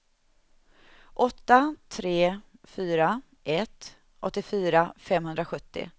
åtta tre fyra ett åttiofyra femhundrasjuttio